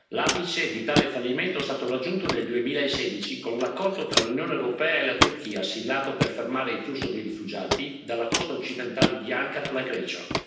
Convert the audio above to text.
L'apice di tale fallimento è stato raggiunto nel 2016 con l'accordo tra l'Unione europea e la Turchia, siglato per fermare il flusso dei rifugiati dalla costa occidentale di Ankara alla Grecia.